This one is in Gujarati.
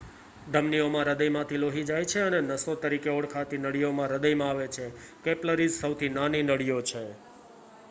ધમનીઓ માં હૃદયમાંથી લોહી જાય છે અને નસો તરીકે ઓળખાતી નળીઓમાં હૃદયમાં આવે છે કેપિલરીઝ સૌથી નાની નળીઓ છે